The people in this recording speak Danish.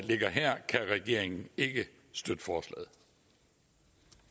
ligger her kan regeringen ikke støtte